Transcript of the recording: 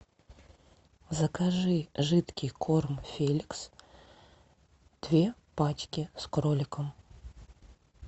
закажи жидкий корм феликс две пачки с кроликом